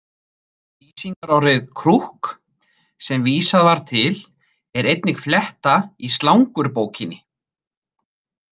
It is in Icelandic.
Lýsingarorðið krúkk, sem vísað var til, er einnig fletta í slangurbókinni.